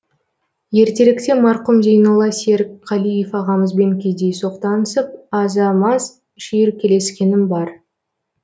ертеректе марқұм зейнолла серікқалиев ағамызбен кездейсоқ танысып аза маз шүйіркелескенім бар